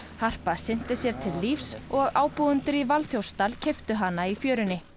harpa synti sér til lífs og ábúendur í Valþjófsdal keyptu hana í fjörunni